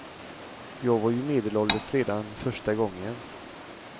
Jag var ju medelålders redan första gången.